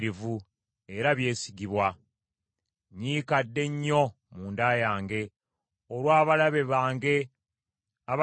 Nnyiikadde nnyo munda yange, olw’abalabe bange abatassaayo mwoyo eri ebiragiro byo.